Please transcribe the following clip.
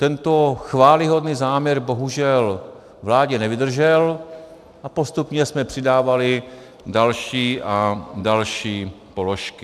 Tento chvályhodný záměr bohužel vládě nevydržel a postupně jsme přidávali další a další položky.